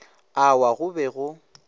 a wa go be go